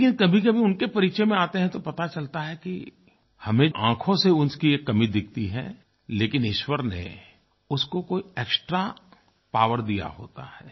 लेकिन कभीकभी उनके परिचय में आते हैं तो पता चलता है कि हमें आँखों से उसकी एक कमी दिखती है लेकिन ईश्वर ने उसको कोई एक्सट्रा पॉवर दिया होता है